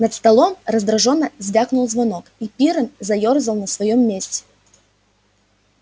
над столом раздражённо звякнул звонок и пиренн заёрзал на своём месте